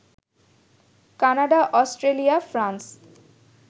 Canada, Australia, France